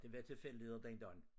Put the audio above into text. Det var tilfældigheder dengang